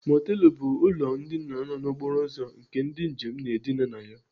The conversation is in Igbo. Mọtelụ bụ ụlọ ndina nọ n'okporo ụzọ nke ndị njem na-edina na ya..